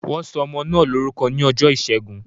Wọn sọ ọmọ náà lórúkọ ní ọjọ́ ìṣẹ́gun